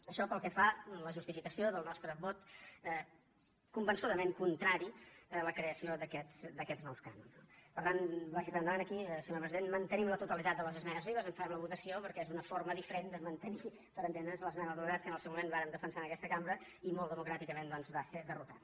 això pel que fa a la justificació del nostre vot conven·çudament contrari a la creació d’aquests nous cànons no per tant vagi per endavant aquí senyor president que mantenim la totalitat de les esmenes vives en farem la votació perquè és una forma diferent de mantenir per entendre’ns l’esmena a la totalitat que en el seu moment vàrem defensar en aquesta cambra i molt de·mocràticament doncs va ser derrotada